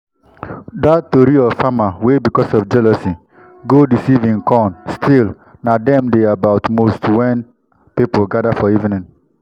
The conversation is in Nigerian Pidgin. dat tori of farmer wey because of jealousy go deceive him corn still na dem dey about most wen people gather for evening.